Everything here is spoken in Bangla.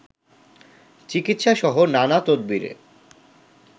চিকিৎসাসহ নানা তদবিরের